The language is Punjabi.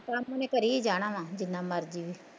ਕੰਮ ਉਹਨੇ ਕਰੀ ਜਾਣਾ ਵਾ ਜਿੰਨਾ ਮਰਜ਼ੀ ਵੀ